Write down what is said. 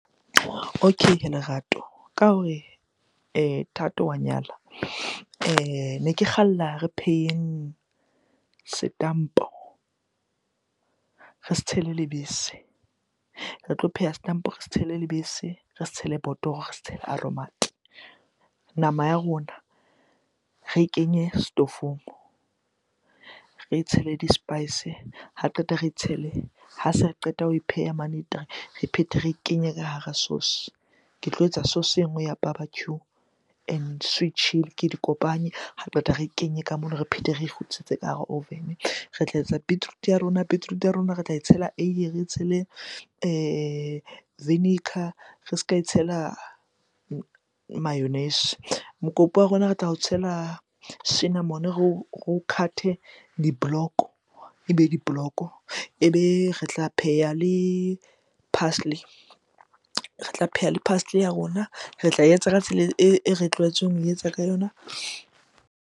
Okay hee Lerato. Ka hore Thato wa nyala, ne ke kgalla re pheheng setampo, re se tshele lebese. Re tlo pheha setampo re se tshele lebese, re se tshele botoro, re se tshele aromat-e. Nama ya rona re e kenye setofong, re e tshele di-spice ha qeta re e tshele, ha se re qeta ho e pheha mane re phete re e kenye ka hara sauce. Ke tlo etsa sauce e nngwe ya barbercue and sweet chilli, ke di kopanye, ha re qeta re e kenye ka mono re phete re kgutlisetse ka hara oven. Re tla etsa beetroot-e ya rona, beetroot-e ya rona re tla e tshela eiye, re e tshele re ska e tshela mayonnaise. Mokopu wa rona re tla o tshela cinnamon, re o cut-e di-block-o, ebe di block-o. Ebe re tla pheha le parsley, re tla pheha le parsley ya rona. Re tla e etsa ka tsela e re tlwaetseng ho e etsa ka yona.